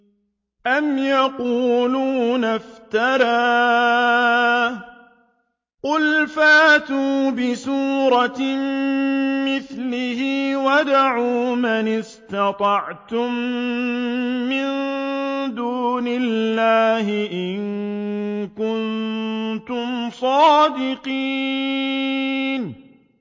أَمْ يَقُولُونَ افْتَرَاهُ ۖ قُلْ فَأْتُوا بِسُورَةٍ مِّثْلِهِ وَادْعُوا مَنِ اسْتَطَعْتُم مِّن دُونِ اللَّهِ إِن كُنتُمْ صَادِقِينَ